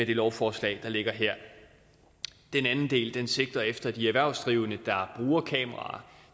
det lovforslag der ligger her den anden del sigter efter at de erhvervsdrivende der bruger kameraer